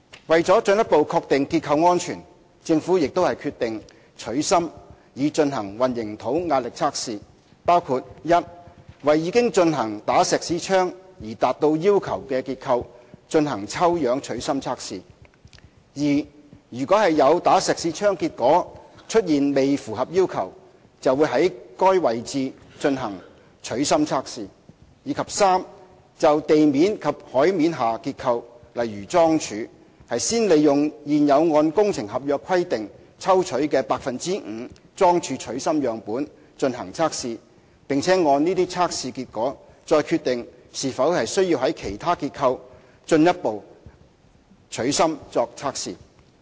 為了進一步確定結構安全，政府亦決定"取芯"以進行混凝土壓力測試，包括：一為已經進行"打石屎槍"而達到要求的結構進行抽樣"取芯"測試；二如果有"打石屎槍"結果出現未符合要求，會在該位置進行取芯測試；及三就地面及海面下結構，先利用現有按工程合約規定抽取的 5% 的樁柱取芯樣本進行測試，並按這些測試結果，再決定是否需要在其他結構進一步取芯作測試。